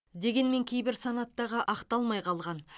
дегенмен кейбір санаттағы ақталмай қалған